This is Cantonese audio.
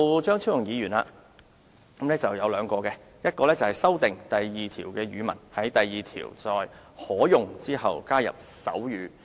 張超雄議員提出了兩項修訂，第1項是修訂第2條，在"可用"之後加入"手語、"。